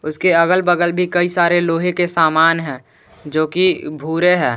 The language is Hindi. उसके अगल बगल भी कई सारे लोहे के सामान है जो कि भूरे हैं।